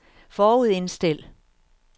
forudindstil